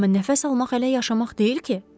Amma nəfəs almaq hələ yaşamaq deyil ki.